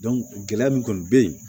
gɛlɛya min kɔni be yen